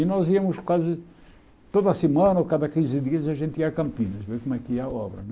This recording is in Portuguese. E nós íamos quase toda semana ou cada quinze dias a gente ia a Campinas, ver como é que ia a obra, né?